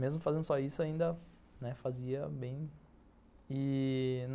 Mesmo fazendo só isso, né, ainda fazia bem. E...